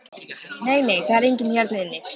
Nei, nei, það er enginn hérna inni.